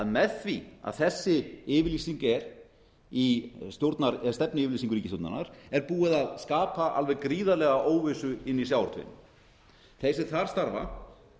með því að þessi yfirlýsing er í stefnuyfirlýsingu ríkisstjórnarinnar er búið að skapa alveg gríðarlega óvissu inni í sjávarútvegi þeir sem þar starfa